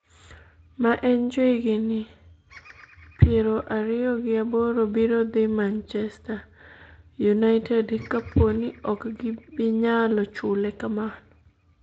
ma en jahigni piero ariyo gi aboro biro dhi Manchester United kapo ni ok gibinyalo chule kamano